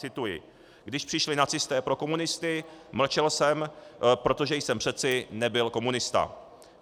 Cituji: Když přišli nacisté pro komunisty, mlčel jsem, protože jsem přece nebyl komunista.